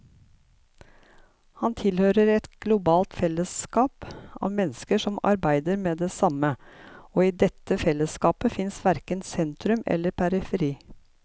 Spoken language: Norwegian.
Han tilhører et globalt fellesskap av mennesker som arbeider med det samme, og i dette fellesskapet fins verken sentrum eller periferi.